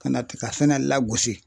Ka na tigasɛnɛ lagosi